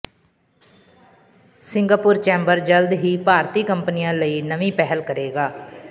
Singapore chamber ਜਲਦ ਹੀ ਭਾਰਤੀ ਕੰਪਨੀਆਂ ਲਈ ਨਵੀਂ ਪਹਿਲ ਕਰੇਗਾ